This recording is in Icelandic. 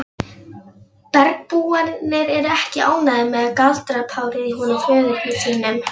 Bergbúarnir eru ekki ánægðir með galdrapárið í honum föður þínum.